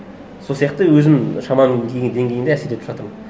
сол сияқты өзімнің шамам келген деңгейімде әсер етіп жатырмын